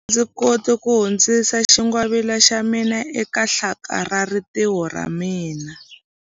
A ndzi koti ku hundzisa xingwavila xa mina eka hlakalarintiho ra ra mina.